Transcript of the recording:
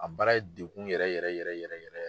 A baara ye degun yɛrɛ yɛrɛ yɛrɛ yɛrɛ yɛrɛ.